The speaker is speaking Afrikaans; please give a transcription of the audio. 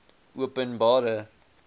openbare